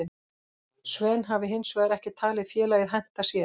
Sven hafi hinsvegar ekki talið félagið henta sér.